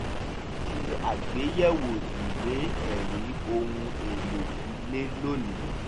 mo ṣe àgbéyẹ̀wò ìwé ẹ̀rí ohun èlò ilé lónìí